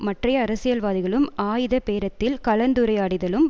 மற்றைய அரசியல்வாதிகளும் ஆயுத பேரத்தில் கலந்துரையாடியதிலும்